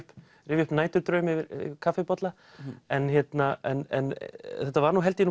rifja upp næturdraum yfir kaffibolla en en þetta var held ég